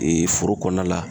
EE foro kɔnɔna la